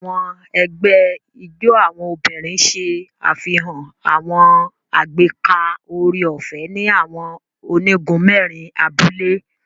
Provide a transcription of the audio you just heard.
Àwọn egbé ijó àwọn obìnrin ṣe àfihàn àwọn agbeka oore-ọfẹ ni awọn onigun mẹrin abúlé